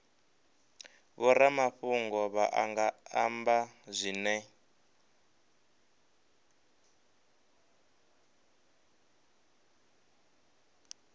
vhoramafhungo vha nga amba zwine